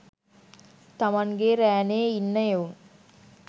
තමන්ගේ රෑනේ ඉන්න එවුන්